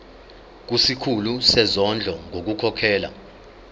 kusikhulu sezondlo ngokukhokhela